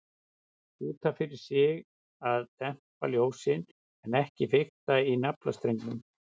Út af fyrir sig að dempa ljósin, en ekki fikta í naflastrengnum.